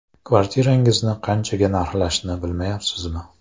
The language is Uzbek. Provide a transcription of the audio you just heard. Kvartirangizni qanchaga narxlashni bilmayapsizmi?